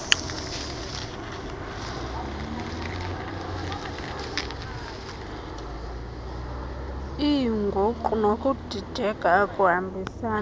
lweenguqu nokudideka okuhambisana